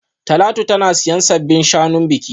Talatu tana siyan sabbin shanun biki